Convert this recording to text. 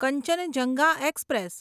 Kanchenjunga express